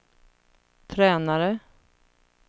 tränare